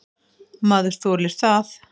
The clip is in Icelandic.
Maður þolir það.